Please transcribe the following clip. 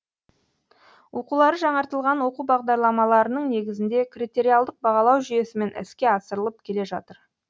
оқулары жаңартылған оқу бағдарламаларының негізінде критериалдық бағалау жүйесімен іске асырылып келе жатыр